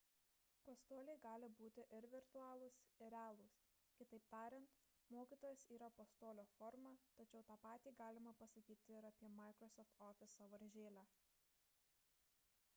pastoliai gali būti ir virtualūs ir realūs kitaip tariant mokytojas yra pastolio forma tačiau tą patį galima pasakyti ir apie microsoft office sąvaržėlę